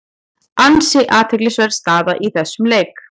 Ansi athyglisverð staða í þessum leik.